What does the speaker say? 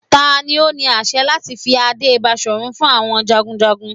Tani o ni aṣẹ lati fi ade Baṣorun fun awọn jagunjagun?